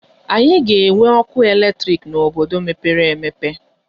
Anyị ga-enwe ọkụ eletrik n'obodo mepere emepe.